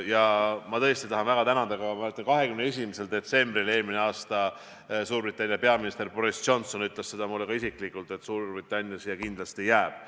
Ja ma tõesti olen väga tänulik, et mullu 21. detsembril Suurbritannia peaminister Boris Johnson ütles mulle ka isiklikult, et Suurbritannia siia kindlasti jääb.